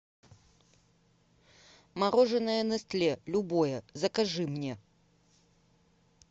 мороженое нестле любое закажи мне